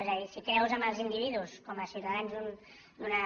és a dir si creus en els individus com a ciutadans d’una